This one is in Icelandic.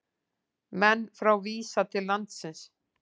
Menn frá Visa til landsins